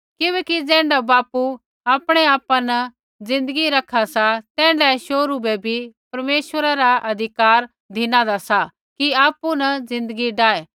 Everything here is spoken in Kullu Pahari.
किबैकि ज़ैण्ढा बापू आपणै आपा न ज़िन्दगी रखा सा तैण्ढै शोहरू बै भी परमेश्वरै ऐ अधिकार धिनादा सा कि आपु न ज़िन्दगी डाऐ